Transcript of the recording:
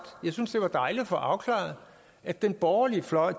synes jeg det var dejligt at få afklaret at den borgerlige fløj